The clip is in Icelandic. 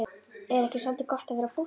Er ekki soldið gott að vera póstur?